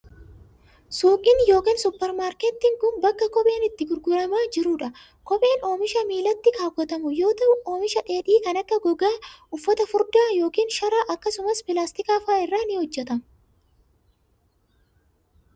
Suuqiin yokin supparmaarkettiin kun, bakka kopheen itti gurguramaa jiruu dha. Kopheen oomisha miilatti kaawwatamu yoo ta'u, oomisha dheedhii kan akka :gogaa, uffata furdaa yokin sharaa akkasumas pilaastika faa irraa ni hojjatama.